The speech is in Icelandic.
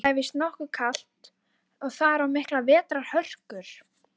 Það er víst nokkuð kalt þar og miklar vetrarhörkur.